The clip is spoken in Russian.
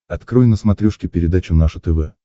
открой на смотрешке передачу наше тв